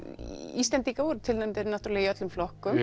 Íslendingar tilnefndir í öllum flokkum